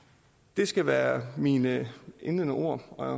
det skal være mine indledende ord og